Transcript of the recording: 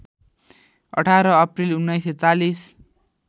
१८ April १९४०